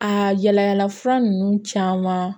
Aa yala yala fura nunnu caman